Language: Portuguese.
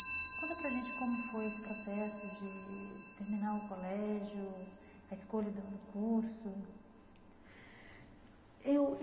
Conta para a gente como foi esse processo de terminar o colégio, a escolha do do curso eu.